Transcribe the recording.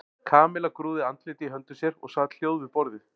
Kamilla grúfði andlitið í höndum sér og sat hljóð við borðið.